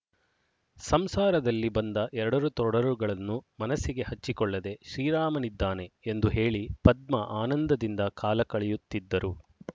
ಸಂಸಾರದಲ್ಲಿ ಬಂದ ಎಡರು ತೊಡರುಗಳನ್ನು ಮನಸ್ಸಿಗೆ ಹಚ್ಚಿಕೊಳ್ಳದೆ ಶ್ರೀರಾಮನಿದ್ದಾನೆ ಎಂದು ಹೇಳಿ ಪದ್ಮ ಆನಂದದಿಂದ ಕಾಲಕಳೆಯುತ್ತಿದ್ದರು